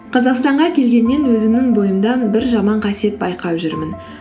қазақстанға келгеннен өзімнің бойымдан бір жаман қасиет байқап жүрмін